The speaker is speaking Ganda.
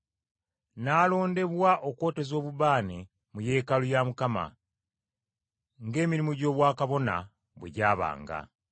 n’alondebwa okwoteza obubaane mu yeekaalu ya Mukama, ng’emirimu gy’obwakabona bwe gyabanga.